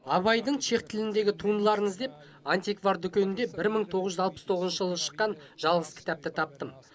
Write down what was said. абайдың чех тіліндегі туындыларын іздеп антиквар дүкенінде бір мың тоғыз жүз алпыс тоғызыншы жылы шыққан жалғыз кітапты таптым